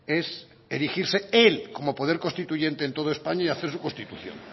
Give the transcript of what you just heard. es erigirse él como poder constituyente en toda españa y hacer su constitución